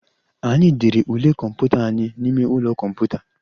Anyị dere ule kọmputa anyị n'ime ụlọ kọmputa